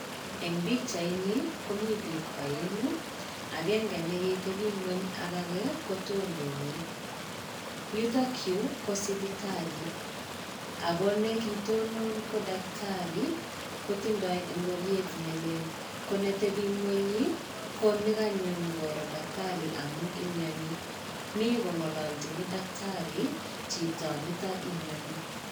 Eng pikyait ni komii bik aeng'u, agenge neketebii ng'ong ak agee kotononi. Yutookyu ko sipitali, ako ne kitonon ko daktari kotindoi ngoriet nelel ko netebi ng'ony ko neganyo nyokoro daktari amun imnyoni, mi kong'ololjini daktari chito nito imnyoni.